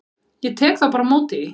Ég tek þá bara á móti því.